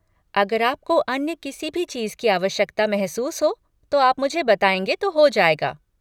अगर आपको अन्य किसी भी चीज़ की आवश्यकता महसूस हो तो आप मुझे बताएँगे तो हो जाएगा।